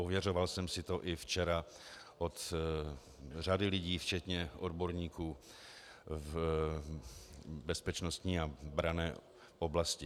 Ověřoval jsem si to i včera od řady lidí včetně odborníků v bezpečnostní a branné oblasti.